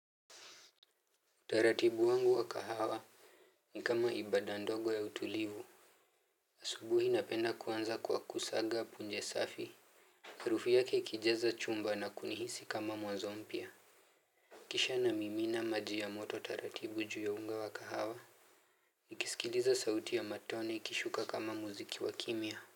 Utaratibu wangu wa kahawa. Ni kama ibada ndogo ya utulivu. Asubuhi napenda kuanza kwa kusaga punje safi. Harufu yake ikijaza chumba na kunihisi kama mwazo mpya kisha namimina maji ya moto taratibu juu ya unga wa kahawa. Nikisikiliza sauti ya matone ikishuka kama muziki wa kimya.